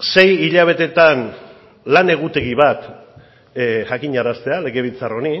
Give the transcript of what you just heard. sei hilabetetan lan egutegi bat jakinaraztea legebiltzar honi